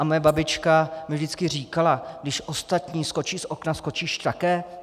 A moje babička mi vždycky říkala: Když ostatní skočí z okna, skočíš také?